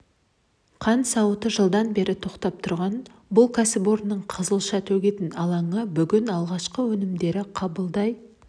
қант зауыты жылдан бері тоқтап тұрған бұл кәсіпорынның қызылша төгетін алаңы бүгін алғашқы өнімдерді қабылдай